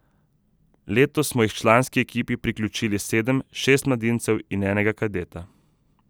Letos smo jih članski ekipi priključili sedem, šest mladincev in enega kadeta.